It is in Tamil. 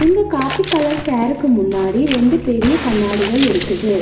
இந்த காப்பி கலர் சேருக்கு முன்னாடி ரெண்டு பெரிய கண்ணாடிகள் இருக்குது.